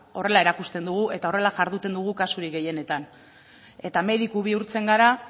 horrela erakusten dugu eta horrela jarduten dugu kasurik gehienetan eta mediku bihurtzen gara